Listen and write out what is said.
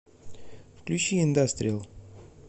включи индастриал